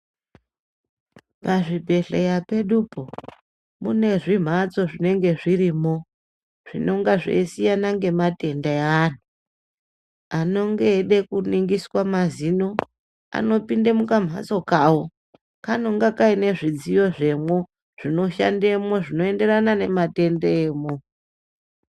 Pazvibhedhleya pedupo mune zvimbatso zbinenge zvirimo zvinonga zveisiyana nematenda eantu anenge eide kuningiswa nemazino anopinde mukamhatso kawo kanenge kane zvidziyo zvemwo zvinoshandemwo zvinoenderana nematenda emwo.